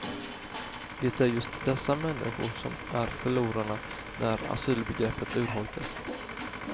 Det är just dessa människor som är förlorarna när asylbegreppet urholkas.